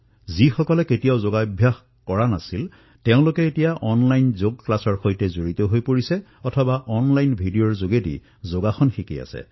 যিসকল লোকে কেতিয়াও যোগ কৰা নাছিল তেওঁলোকেও অনলাইন যোগ পাঠ্যক্ৰমৰ সৈতে জড়িত হৈ পৰিছে অথবা অনলাইন ভিডিঅৰ জৰিয়তে যোগ শিকি আছে